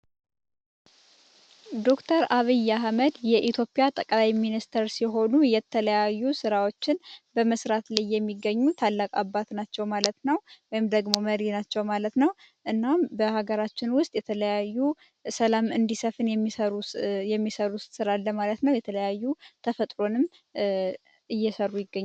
ዶክተር አብይ አህመድ የኢትዮጵያ ጠቅላይ ሚኒስትር ሲሆኑ የተለያዩ ራዎችን በመስራት ላይ የሚገኙ ታላቅ አባት ናቸው ማለት ነው መሪ ናቸው ማለት ነው። እና በሀገራችን ውስጥ የተለያዩ የሰላም እንዲሰፍን የሚሰሩ የሚሰሩት ስራ ለማለት ነው የተለያዩ ተፈጥሮንም እየሰሩ ይገኛል።